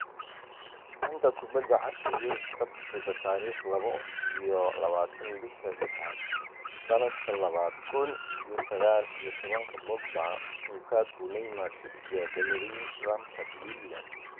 Xanta Kubadda Cagta Yurub Sabtida tariq labo iyo labataan bisha lixaad sanadka labada kun iyo sagal iyo tobanka Pogba, Lukaku, Neymar, Trippier, Bellerin, Lampard, Willian